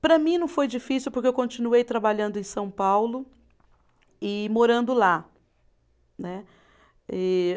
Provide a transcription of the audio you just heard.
Para mim não foi difícil, porque eu continuei trabalhando em São Paulo e morando lá. Né e